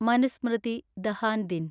മനുസ്മൃതി ദഹാൻ ദിൻ